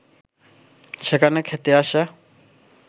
সেখানে খেতে আসা